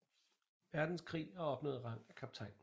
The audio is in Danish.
Verdenskrig og opnåede rang af kaptajn